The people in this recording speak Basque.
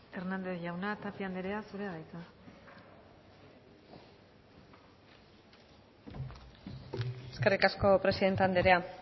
hernández jauna tapia andrea zurea da hitza eskerrik asko presidente andrea